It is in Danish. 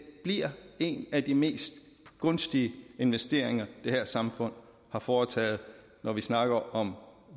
bliver en af de mest gunstige investeringer det her samfund har foretaget når vi snakker om